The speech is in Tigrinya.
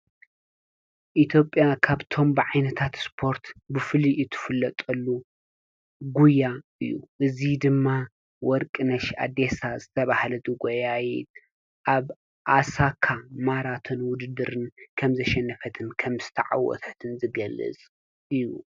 ኢትዮጵያ ካብቶም ብዓይነታት ስፖርት ብፉልይ እትፍለጠሉ ጉያ እዩ። እዚ ድማ ወርቅነሽ ኢዴሳ ዝተብሃለት ጎያይት ኣብ ኣሳካ ማራቶን ዉድድር ከም ዘሸነፈትን ከም ዝተዓወተትን ዝገልጽ እዩ።